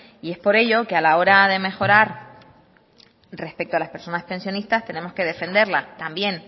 y es por ello que a la hora de mejorar respecto a las personas pensionistas tenemos que defenderla también